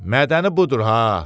Mədəni budur ha.